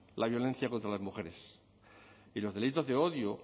la violencia contra las mujeres y los delitos de odio